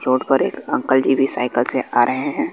Road पर एक uncle ji भी सायकल से आ रहे हैं।